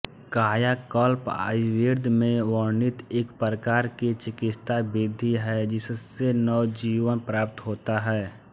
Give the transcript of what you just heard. कायाकल्प आयुर्वेद में वर्णित एक प्रकार की चिकित्सा विधि है जिससे नवजीवन प्राप्त होता है